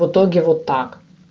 в итоге вот так